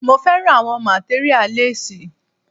Mo fẹ́ràn àwọn materia less.